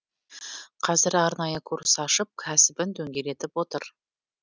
қазір арнайы курс ашып кәсібін дөңгелетіп отыр